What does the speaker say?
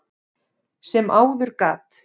sem áður gat.